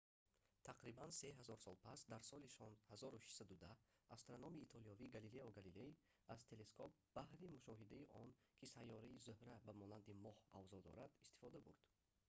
тақрибан се ҳазор сол пас дар соли 1610 астрономи итолиёвӣ галилео галилей аз телескоп баҳри мушоҳидаи он ки сайёраи зӯҳра ба монанди моҳ авзо дорад истифода бурд